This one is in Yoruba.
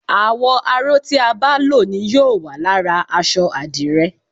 àwò̩ aró tí a bá ló ni yóò wà lára aṣọ adire